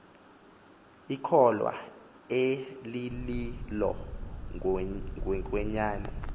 ikholwa elililo ngokwenyani